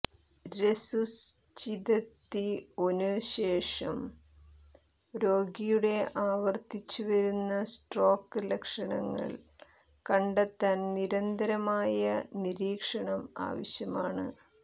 resuscitation ശേഷം രോഗിയുടെ ആവർത്തിച്ചുവരുന്ന സ്ട്രോക്ക് ലക്ഷണങ്ങൾ കണ്ടെത്താൻ നിരന്തരമായ നിരീക്ഷണം ആവശ്യമാണ്